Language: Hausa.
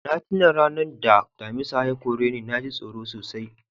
Na tuna ranan da Damisa ya kore ni. Na ji tsoro sosai.